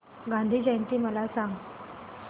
गांधी जयंती मला सांग